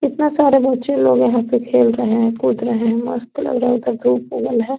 कितना सारे बच्चे लोग यहाँ पे खेल रहे है कूद रहे है मस्त लग रहा है इधर धुप उगल हैं।